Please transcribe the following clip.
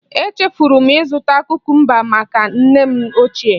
Echefuru m ịzụta kukumba maka nne m ochie